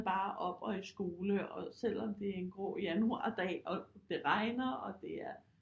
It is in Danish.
Bare op og i skole og selvom det er en grå januardag og det regner og det er